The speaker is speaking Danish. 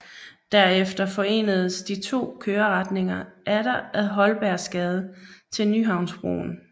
Derefter forenedes de to køreretninger atter ad Holbergsgade til Nyhavnsbroen